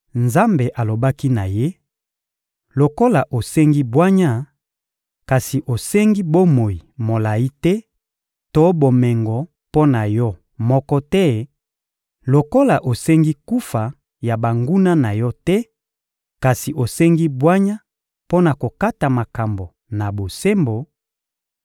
Nzambe alobaki na ye: — Lokola osengi bwanya, kasi osengi bomoi molayi te to bomengo mpo na yo moko te; lokola osengi kufa ya banguna na yo te, kasi osengi bwanya mpo na kokata makambo na bosembo,